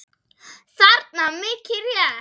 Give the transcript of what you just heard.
þarna, mikið rétt.